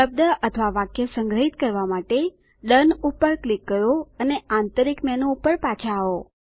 શબ્દ અથવા વાક્ય સંગ્રહિત કરવા માટે ડોન પર ક્લિક કરો અને આંતરિક મેનુ પર પાછા આવો